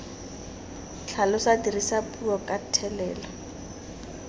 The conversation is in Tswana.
tlhalosa dirisa puo ka thelelo